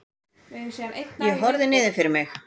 Ég horfi niður fyrir mig.